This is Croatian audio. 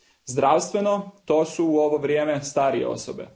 Zdravstveno, to su u ovo vrijeme starije osobe.